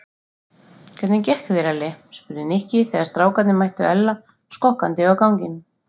Hvernig gekk þér Elli? spurði Nikki þegar strákarnir mættu Ella skokkandi á ganginum.